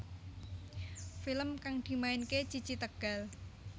Film kang dimainake Cici Tegal